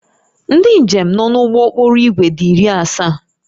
Ndị njem nọ n'ụgbọ okporo ígwè dị iri asaa